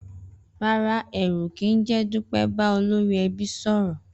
Rárá, è̩rù̩ kì í jé̩ Dúpé̩ bá olórí e̩bí sò̩rò̩